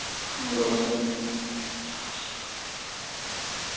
Allah Arbi .